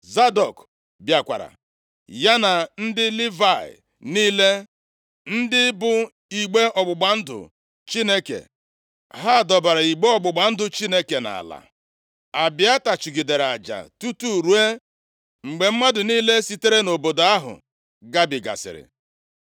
Zadọk bịakwara, ya na ndị Livayị niile, ndị bu igbe ọgbụgba ndụ Chineke. Ha dọbara igbe ọgbụgba ndụ Chineke nʼala. Abịata chụgidere aja tutu ruo mgbe mmadụ niile sitere nʼobodo ahụ gabigasịrị.